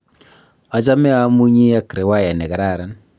achame amunyii ak riwaya nekararan